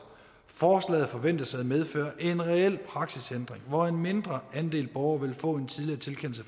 forslaget forventes at medføre en reel praksisændring hvor en mindre andel borgere vil få en tidligere tilkendelse